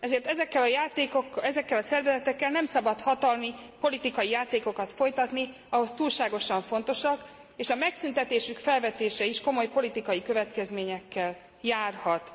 Ezért ezekkel a szervezetekkel nem szabad hatalmi, politikai játékokat folytatni, ahhoz túlságosan fontosak, és a megszüntetésük felvetése is komoly politikai következményekkel járhat.